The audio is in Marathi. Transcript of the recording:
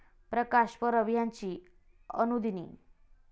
प्रकाश परब ह्यांची अनुदिनी.